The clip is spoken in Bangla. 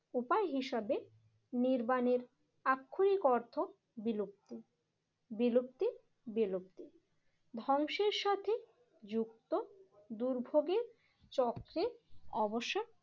উপায় হিসেবে নির্মাণের আক্ষরিক অর্থ বিলুপ্তি বিলুপ্তি ধ্বংসের সাথে যুক্ত দুর্ভোগের চক্রের অবসান